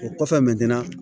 O kɔfɛ